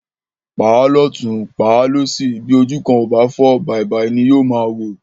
Pàá lótùn, pàá lósì, bí ojú náà kò fọ́, bàìbàì ni yóò máa wò.